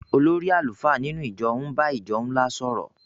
olórí àlùfáà nínú ìjọ ń bá ìjọ ńlá sọ̀rọ̀.